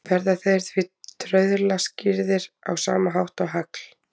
Verða þeir því trauðla skýrðir á sama hátt og hagl.